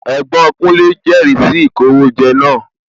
Ẹ̀gbọ́n kúnlé jẹri sì ìkówójẹ náà